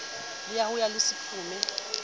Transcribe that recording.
la ho ya le sephume